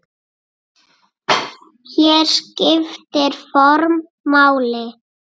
Hér skiptir form máli.